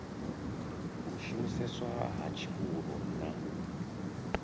u shumiseswa ha tshivhuru na